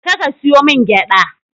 Je ka ka siyo min gyada.